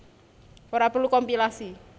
Ora perlu kompilasi